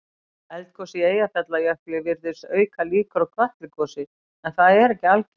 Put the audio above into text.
Eldgos í Eyjafjallajökli virðist auka líkur á Kötlugosi en það er ekki algilt.